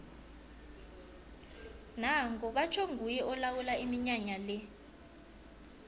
nango batjho nguye olawula iminyanya le